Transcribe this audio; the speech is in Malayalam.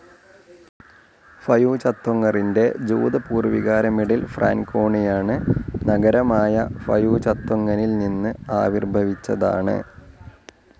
ഫയൂചത്വങ്ങറിൻ്റെ ജൂത പൂർവികാരമിഡിൽ ഫ്രാൻകോണിയാണ് നഗരമായ ഫയൂചത്വങ്ങനിൽ നിന്ന് ആവിർഭവിച്ചതാണ്